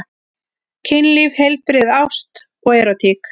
Kynlíf, heilbrigði, ást og erótík.